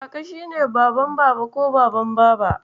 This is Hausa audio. Kaka shi ne Baban Baba ko Baban Baba.